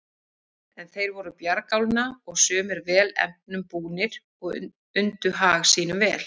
En þeir voru bjargálna og sumir vel efnum búnir og undu hag sínum vel.